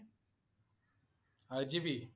RGB?